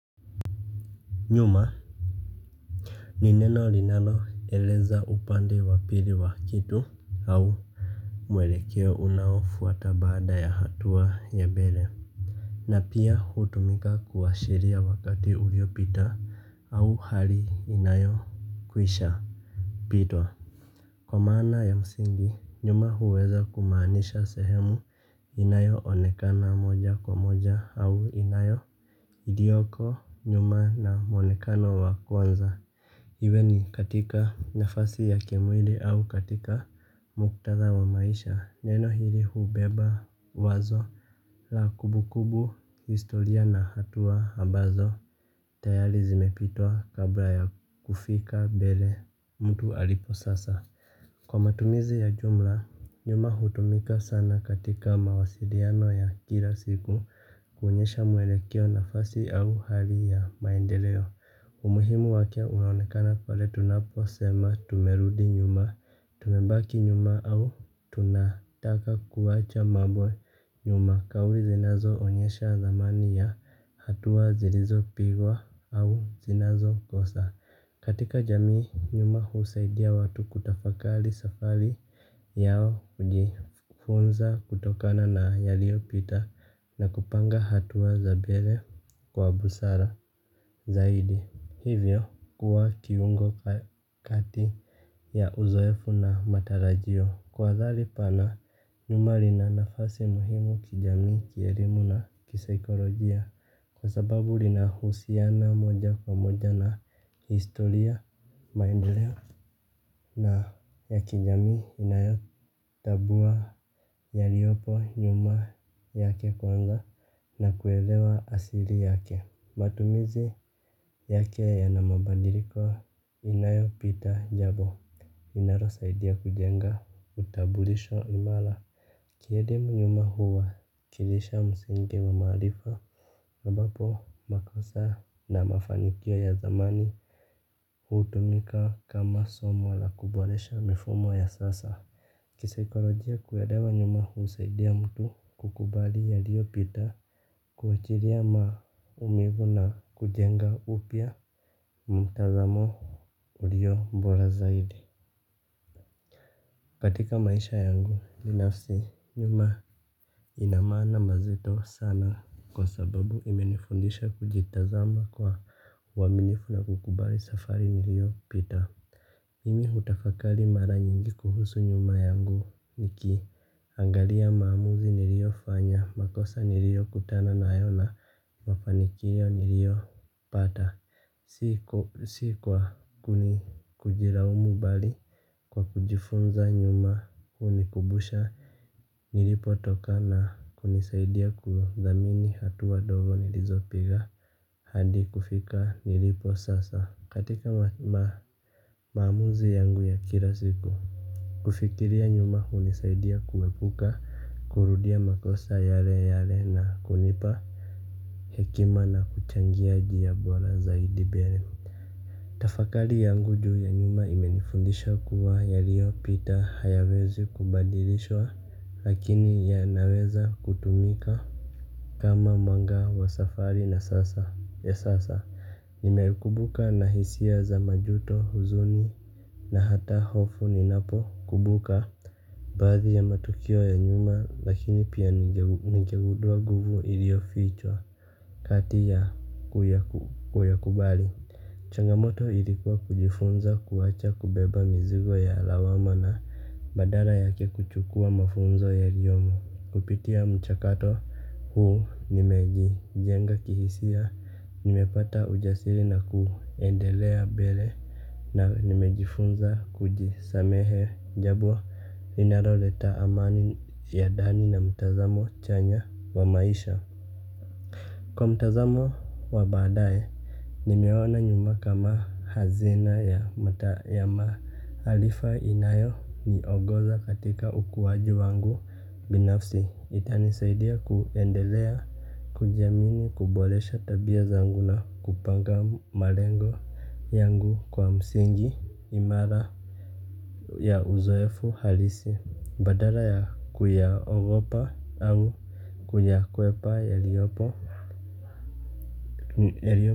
Nyuma. Ni neno linaloeleza upande wa pili wa kitu au mwelekeo unaofuata baada ya hatua ya mbele. Na pia hutumika kuashiria wakati uliopita au hali inayokwisha. Pitwa. Kwa maana ya msingi nyuma huweza kumaanisha sehemu inayo onekana moja kwa moja au inayo ilioko nyuma na mwonekano wa kwanza. Iwe ni katika nafasi ya kimwili au katika muktadha wa maisha neno hili hubeba wazo la kumbukumbu historia na hatua ambazo tayari zimepitwa kabla ya kufika mbele mtu alipo sasa. Kwa matumizi ya jumla, nyuma hutumika sana katika mawasiliano ya kila siku kuonyesha mwelekeo nafasi au hali ya maendeleo. Umuhimu wake unaonekana pale tunaposema tumerudi nyuma, tumebaki nyuma au tunataka kuwacha mambo nyuma. Kauli zinazoonyesha thamani ya hatua zilizopigwa au zinazokosa. Katika jamii nyuma husaidia watu kutafakali safari yao hujifunza kutokana na yaliyopita na kupanga hatua za mbele kwa busara zaidi. Hivyo kuwa kiungo kati ya uzoefu na matarajio. Kwa dhali pana nyuma lina nafasi muhimu kijami, kielimu na kisaikolojia. Kwa sababu linahusiana moja kwa moja na historia maendeleo na ya kijamii inayokagua yaliyopo nyuma yake kwanza na kuelewa asili yake. Matumizi yake yana mabadiliko inayo pita jambo inalo saidia kujenga utambulisho imara. Kielimu nyuma huwa kilisha msingi wa maarifa ambapo makosa na mafanikio ya zamani. Hutumika kama somo la kuboresha mifumo ya sasa. Kisaikolojia kuelewa nyuma husaidia mtu kukubali yaliyopita kuachilia maumivu na kujenga upya mtazamo ulio mbora zaidi. Katika maisha yangu binafsi nyuma ina maana mazito sana. Kwa sababu imenifundisha kujitazama kwa uaminifu na kukubali safari niliyopita. Mimi hutafakari mara nyingi kuhusu nyumba yangu niki angalia maamuzi niliyofanya, makosa niliyokutana nayo na, mafanikio niliyo pata. Si kwa kuni kujilaumu bali kwa kujifunza nyuma hunikubusha nilipotoka na kunisaidia kuthamini hatua ndogo nilizopiga hadi kufika nilipo sasa katika maamuzi yangu ya kila siku kufikiria nyuma hunisaidia kuepuka kurudia makosa yale yale na kunipa hekima na kuchangia njia bora zaidi mbele. Tafakari yangu juu ya nyumba imenifundisha kuwa yaliyopita hayawezi kubadilishwa lakini yanaweza kutumika. Kama mwanga wa safari na sasa ya sasa. Nimekumbuka na hisia za majuto huzuni na hata hofu ni ninapo kubuka. Baadhi ya matukio ya nyuma lakini pia ningegudua nguvu iliyofichwa kati ya kuyakubali. Changamoto ilikuwa kujifunza kuwacha kubeba mizigo ya lawama na badala yake kuchukua mafunzo yaliyomo kupitia mchakato huu nimejijenga kihisia nimepata ujasiri na kuendelea mbele na nimejifunza kujisamehe jambo linaloleta amani ya ndani na mtazamo chanya wa maisha. Kwa mtazamo wa baadaye. Nimeona nyuma kama hazina ya maarifa inayoniongoza katika ukuaji wangu binafsi. Itanisaidia kuendelea kujiamini kuboresha tabia zangu na kupanga malengo yangu kwa msingi imara ya uzoefu halisi. Badala ya kuyaogopa au kuyakwepa yaliyopo yaliyo.